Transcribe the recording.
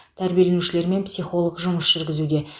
тәрбиеленушілермен психолог жұмыс жүргізуде